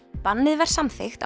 bannið var samþykkt á